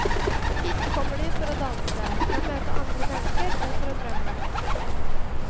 Hit kommer de for å danse, for å møte andre mennesker og for å drømme.